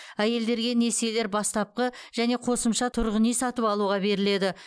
әйелдерге несиелер бастапқы және қосымша тұрғын үй сатып алуға беріледі